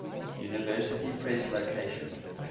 university press location